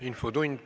Infotund.